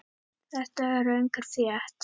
Þetta er röng frétt.